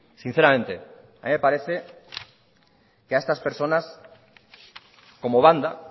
sinceramente a mí me parece que a estas personas como banda